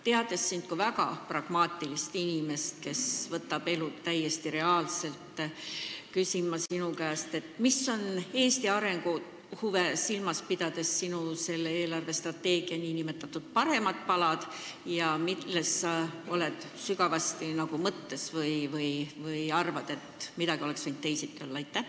Teades sind kui väga pragmaatilist inimest, kes võtab elu täiesti reaalselt, küsin ma sinu käest: mis on Eesti arengu huve silmas pidades selle eelarvestrateegia nn paremad palad ja mille üle sa oled sügavasti mõttes või mille kohta arvad, et see oleks võinud teisiti olla?